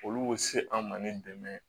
Olu bɛ se an ma ni dɛmɛ ye